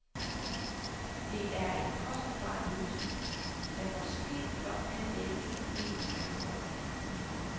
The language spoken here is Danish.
Det er en kostbar løsning, der måske blot kan dække en del af behovet.